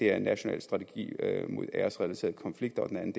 er national strategi mod æresrelaterede konflikter og den anden